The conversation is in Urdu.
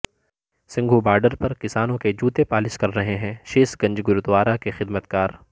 سنگھو بارڈر پر کسانوں کے جوتے پالش کررہے ہیں شیش گنج گردوارہ کے خدمت گار